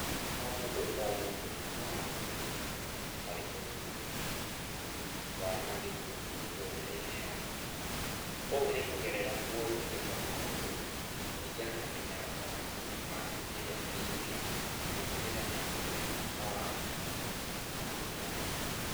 O mũndũ o mũndũ no anyite itemi harĩ kũnyihia wanangĩku mĩtũrĩre-inĩ yao. Ũũ nĩ kũgerera mũndũ gũĩka maũndũ kũringana na mĩtaratara na mĩkana ĩrĩa ĩigĩtwo na gũtigĩrĩra nĩ arũmĩrĩra mawatho na kũmabuata wega.